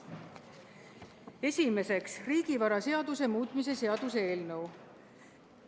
Esimeseks, riigivaraseaduse muutmise seaduse eelnõu.